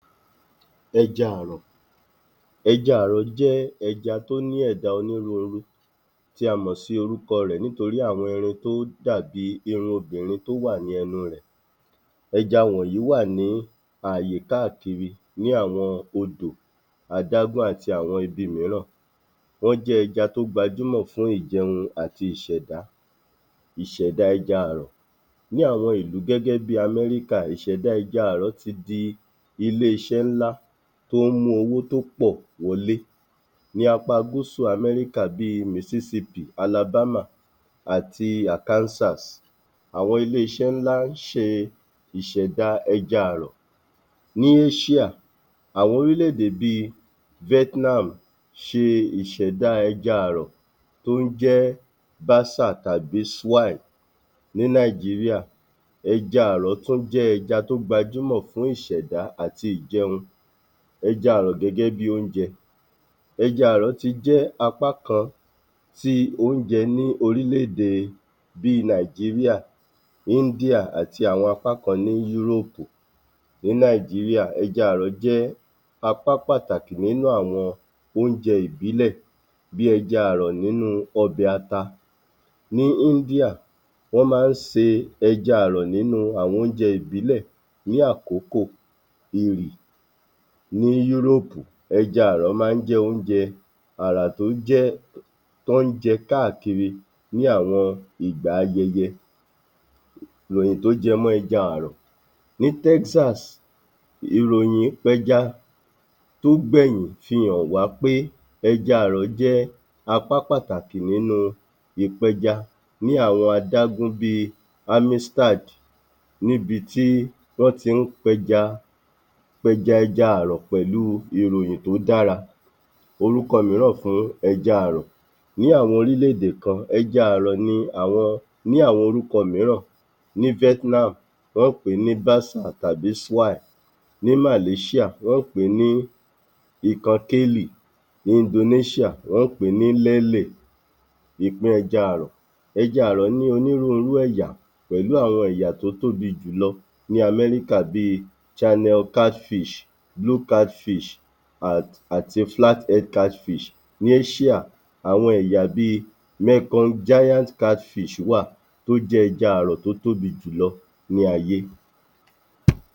Ẹja àrọ̀, ẹja àrọ̀ jẹ́ ẹja tó ní ẹ̀dá onírúurú tí a mọ̀ sí orúkọ rẹ̀ nítorí àwọn irun tó dàbí irun obìnrin tó wà ní ẹnu rẹ̀. ẹja wọ̀nyí wà ní àyè káàkiri ní àwọn odò adágún àti àwọn ibi mìíràn. Wọ́n jẹ́ ẹja tó gbajúmọ̀ fún ìjẹun àti ìṣẹdá, ìṣẹ̀dá ẹja àrọ̀. Ní àwọn ìlú gẹ́gẹ́ bí i Amẹ́ríkà ìṣẹ̀dá ẹja àrọ̀ ti di ilé-iṣẹ́ ńlá tó ń mú owó tó pọ̀ wọlé ní apá gúsù Amẹ́ríkà bí i mississipi alabama àti arkansas àwọn iléeṣẹ́ ńlá ń ṣe ìṣẹ̀da ẹja àrọ̀ ní asia àwọn orílẹ̀-èdè bí i vietnam ṣe ìṣẹ̀da ẹja àrọ̀ tó ń jẹ́ basa tàbí swine ní Nàìjíríà, ẹja àrọ̀ tún jẹ́ ẹja tó gbajúmọ̀ fún ìṣẹ̀dá àti ìjẹun. Ẹja àrọ̀ gẹ́gẹ́ bí i oúnjẹ, ẹja àrọ̀ ti jẹ́ apá kan ti oúnjẹ ní orílẹ̀-èdè bí i Nàìjíríà, India àti àwọn apá kan ní europe. Ní Nàìjíríà, ẹja àrọ̀ jẹ́ apá pàtàkì nínú àwọn oúnjẹ ìbílẹ̀ bí i ẹja àrọ̀ nínú ọbẹ̀ ata. Ní India, wọ́n máa ń se ẹja àrọ̀ nínú àwọn oúnjẹ ìbílẹ̀ ní àkókò ìrì. Ní Yúrópù. ẹja àrọ̀ máa ń jẹ́ oúnjẹ àrà tó jẹ́ t’ọ́n ń jẹ káàkiri ní àwọn ìgbà ayẹyẹ. Ìròyìn tó jẹ mọ́ ẹja àrọ̀, ní Texas ìròyìn kọjá tó gbẹ̀yìn fi hàn wá pé ẹja àrọ̀ jẹ́ apá pàtàkì nínú ìpẹja ní àwọn adágún bí i níbi tí wọ́n ti ń pẹja, pẹja ẹja àrọ̀ pèlú ìròyìn tó dára. Orúkọ mìíràn fún ẹja àrọ̀, ní àwọn oríllẹ̀-èdè kan ẹja àrọ̀ ni àwọn ní àwọn orúkọ mìíràn ní vietnam wọ́n ń pè é ní basa tàbí swine. Ní Malaysia wọ́n ń pèé ní ní indonesia wọ́n ń pèé ní. ẹja àrọ̀, ẹja àrọ̀ ní onírúurú ẹ̀yà. Pèlú àwọn ẹ̀yà tó tóbi jùlọ ní Amẹ́ríkà bí i chhannel catfish blue catfish um àti flathead catfish. Ní ẹ́ṣíà. Àwọn ẹ̀yà bí i giant catfish wà tó jẹ́ ẹja àrọ̀ tó tóbi jùlọ ní gbogbo ayé.